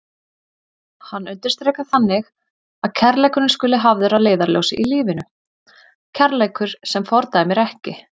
Hann undirstrikar þannig að kærleikurinn skuli hafður að leiðarljósi í lífinu, kærleikur sem fordæmir ekki.